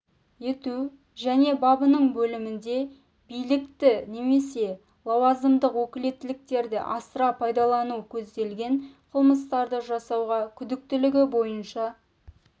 ету және бабының бөлімінде билікті немесе лауазымдық өкілеттіктерді асыра пайдалану көзделген қылмыстарды жасауға күдіктілігі бойынша